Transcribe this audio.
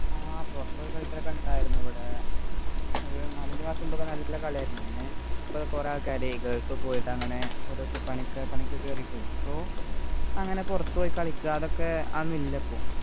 ആഹ് പുറത്തുപോയി കളിക്കാലൊക്കെ ഉണ്ടയിരുന്നു ഇവിടെ ഒരു നാലഞ്ചു മാസമൊക്കെ നല്ല കളിയായിരുന്നു പിന്നെ പ്പോ കുറെ ആള്ക്കാര് ഗൾഫ് പോയിട്ട് അങ്ങനെ ഓരോ സ്ഥലത്തു പണിക്ക് പണിക്കു കേറീട്ടെ പ്പോ അങ്ങനെ പുറത്തുപോയി കളിക്കാ അതൊക്കെ അതൊന്നും ഇല്ല പ്പോ